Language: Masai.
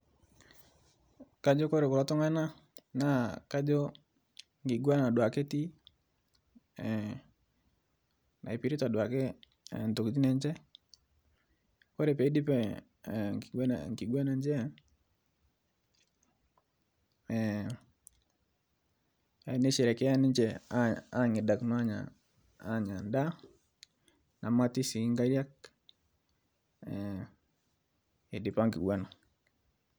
Kajo kore kulo tung'anak naa kajo enkiguana duoake etii naipirta duoake ntokitin enche ore pee eidip enkiguana enche neisherekea ninche ang'idakino aanya endaa nemati sii nkariak eidipa nkiguana